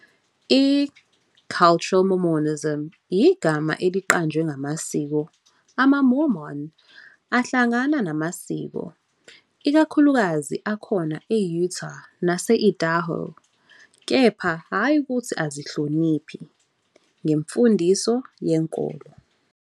I-Cultural Mormonism yigama eliqanjwe ngamasiko amaMormon ahlangana namasiko, ikakhulukazi akhona e-Utah nase-Idaho, kepha hhayi ukuthi azihloniphi ngemfundiso yenkolo.